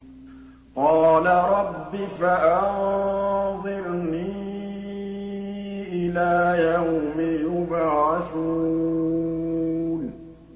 قَالَ رَبِّ فَأَنظِرْنِي إِلَىٰ يَوْمِ يُبْعَثُونَ